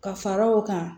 Ka fara o kan